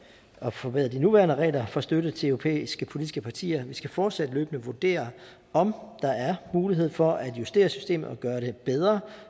forbedre de nuværende regler for støtte til europæiske politiske partier vi skal fortsat løbende vurdere om der er mulighed for at justere systemet og gøre det bedre